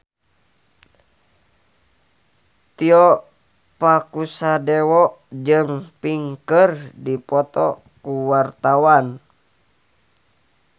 Tio Pakusadewo jeung Pink keur dipoto ku wartawan